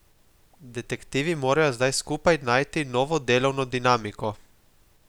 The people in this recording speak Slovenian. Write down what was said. Detektivi morajo zdaj skupaj najti novo delovno dinamiko.